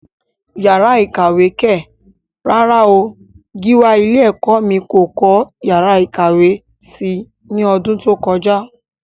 Yàrá ìkàwé kẹ̀! rárá o, Gíwá ilé ẹ̀kọ́ mí kò kọ́ yàrá ìkàwé si ní ọdún tó kọjá.